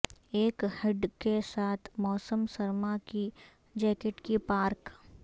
ایک ہڈ کے ساتھ موسم سرما کی جیکٹ کی پارک